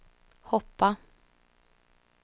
hoppa